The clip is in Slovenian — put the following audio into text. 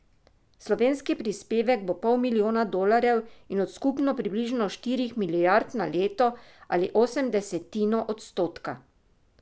Slovenski prispevek bo pol milijona dolarjev od skupno približno štirih milijard na leto ali osemdesetino odstotka.